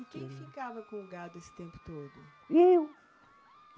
E quem ficava com o gado esse tempo todo? Eu